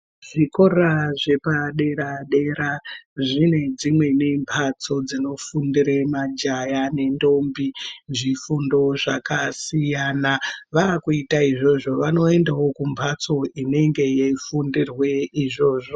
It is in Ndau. Zvikora zvepadera dera zvine dzimweni mbatso ndinofundira majaya nendombi zvifundo zvakasiyana vakuita izvozvo vanoendawo kumbatso inenge yeifundirwe izvozvo.